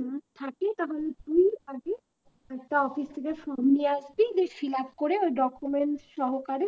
না থাকে তাহলে তুই আগে একটা office থেকে form নিয়ে আসবি দিয়ে fill up করে ওই document সহকারে